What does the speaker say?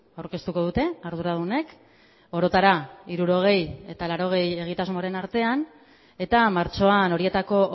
aurkeztuko dute arduradunek orotara hirurogei eta laurogei egitasmoren artean eta martxoan horietako